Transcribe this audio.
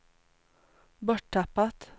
borttappat